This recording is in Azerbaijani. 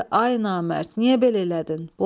Dedi: "Ay namərd, niyə belə elədin?"